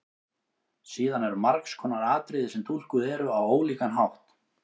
Síðan eru margs konar atriði sem túlkuð eru á ólíkan hátt.